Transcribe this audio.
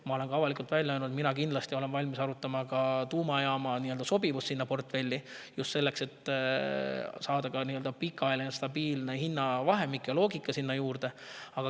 Ma olen avalikult välja öelnud, et ma olen kindlasti valmis arutama tuumajaama sobivust sinna portfelli – just selleks, et saada pikaajaline stabiilne hinnavahemik ja loogika sinna juurde.